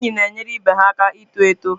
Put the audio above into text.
Ndị enyi na-enyere ibe ha aka ito eto.